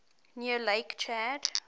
near lake chad